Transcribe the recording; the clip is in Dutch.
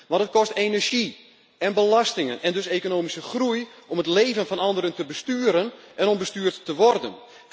Maar het kost energie en belastingen, en dus economische groei om het leven van anderen te besturen en om bestuurd te worden.